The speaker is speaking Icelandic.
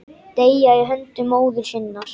Deyja í höndum móður sinnar.